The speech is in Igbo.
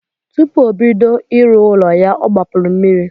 Tupu obodo ịrụ ụlọ ya ọ gbapuru mmiri.